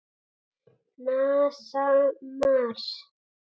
NASA- Mars.